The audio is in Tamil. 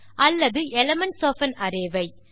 அல்லது elements of an array why